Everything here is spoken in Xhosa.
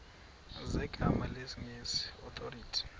zegama lesngesn authorit